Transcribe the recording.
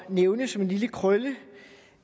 nævne som en lille krølle